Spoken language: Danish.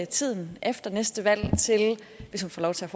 tiden efter næste valg hvis hun får lov til